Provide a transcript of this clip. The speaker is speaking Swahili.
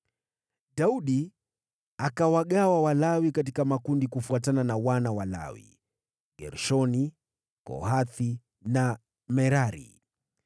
Daudi akawagawa Walawi katika makundi kufuatana na wana wa Lawi: Gershoni, Kohathi na Merari.